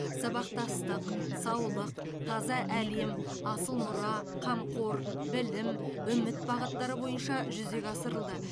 сабақтастық саулық таза әлем асыл мұра қамқор білім үміт бағыттары бойынша жүзеге асырылды